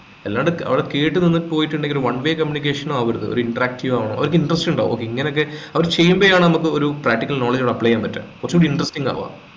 അല്ലാണ്ട് അത് കേട്ട് നിന്ന് പോയിട്ടുണ്ടെങ്കിൽ one way communication ആവരുത് ഒരു interactive ആവണം അവരിക്ക് interest ഇണ്ടാവും okay ഇങ്ങനൊക്കെ അവര് ചെയ്യുമ്പേ ആണ് നമുക്ക് ഒരു practical knowledge കൾ apply ചെയ്യാൻ പറ്റുക കുറച്ചൂടി interesting ആവുക